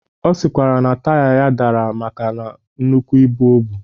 Ọ sịkwara na taya ya dara maka nnukwu ibu obu.